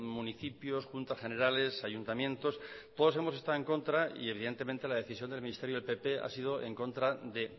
municipios juntas generales ayuntamientos todos hemos estado en contra y evidentemente la decisión del ministerio del pp ha sido en contra de